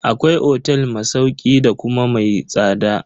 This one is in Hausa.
Akwai otel ma sauƙin kudi da kuma mai tsada.